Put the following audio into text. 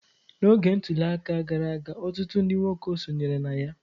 N'oge ntuli aka gara aga, ọtụtụ ndị nwoke sonyere na ya.